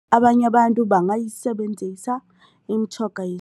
Abanye abantu bangayisebenzisa imitjhoga